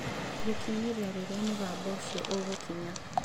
Gũkinyĩria rĩrĩa mũgambo ũcio ũgũkinya.